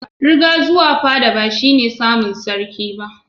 Riga zuwa fada bashi ne samun sarki ba